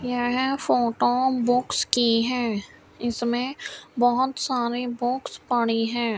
यह photo books की है इसमें बहोत सारे बुक्स पड़ी है।